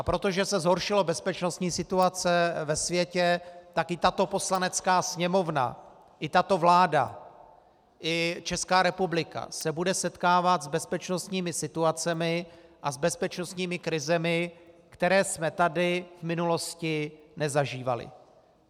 A protože se zhoršila bezpečnostní situace ve světě, tak i tato Poslanecká sněmovna i tato vláda i Česká republika se budou setkávat s bezpečnostními situacemi a s bezpečnostními krizemi, které jsme tady v minulosti nezažívali.